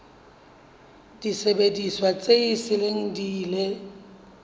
disebediswa tse seng di ile